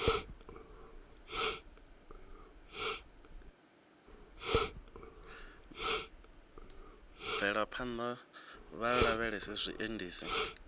bvele phanḓa vha lavhelese zwiendisi